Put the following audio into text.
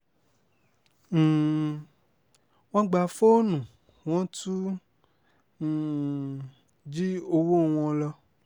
um wọ́n gba fóònù wọ́n tún um jí owó wọn lọ